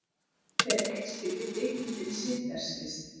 Hver leikstýrði kvikmyndinni Schindlers List?